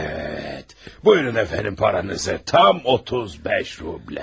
Bəli, buyurun əfəndim pulunuzu, tam 35 rubl.